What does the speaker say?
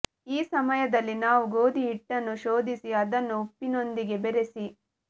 ಈ ಸಮಯದಲ್ಲಿ ನಾವು ಗೋಧಿ ಹಿಟ್ಟನ್ನು ಶೋಧಿಸಿ ಅದನ್ನು ಉಪ್ಪಿನೊಂದಿಗೆ ಬೆರೆಸಿ